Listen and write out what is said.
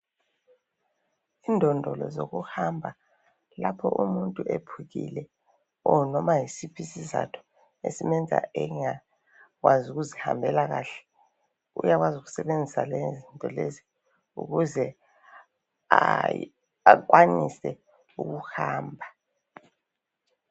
Indodolo zokuhamba lapho umuntu ephukile noma yisiphi isizatho esimenza engakwazi ukuzihambela kahle uyakwazi ukusebenzisa lezinto lezi ukuze akwanise ukuhamba .